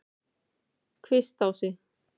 Kvistási